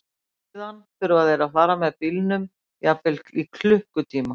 Og síðan þurfa þeir að fara með bílnum jafnvel í klukkutíma?